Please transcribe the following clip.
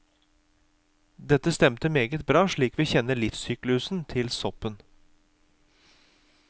Dette stemte meget bra slik vi kjenner livssyklusen til soppen.